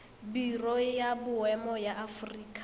biro ya boemo ya aforika